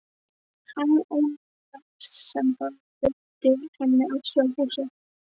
Um ánægjuna sem það veitti henni að sjá húsið.